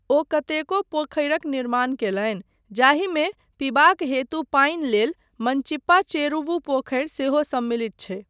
ओ कतेको पोखरिक निर्माण कयलनि जाहिमे पीबाक हेतु पानि लेल मनचिप्पा चेरुवु पोखरि सेहो सम्मिलित छै।